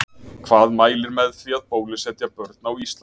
Hvað mælir með því að bólusetja börn á Íslandi?